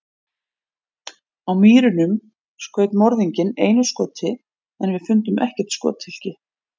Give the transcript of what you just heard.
Á Mýrunum skaut morðinginn einu skoti en við fundum ekkert skothylki.